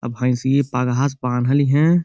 अ भैसिये पगहा से बांधल हिए।